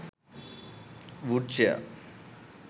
wood chair